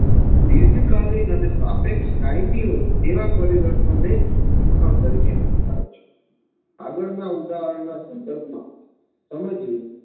દીર્ઘકાલીન અને સાપેક્ષ કાયમી હોય તેવા પરિવર્તનોને જ શિક્ષણ તરીકે સ્વીકારે છે આગળના ઉદાહરણના સંદર્ભમાં સમજીએ